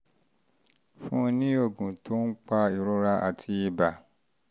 fún un ní oògùn tó ń pa ìrora àti ibà